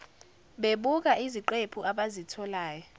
bebuka iziqephu abazitholayo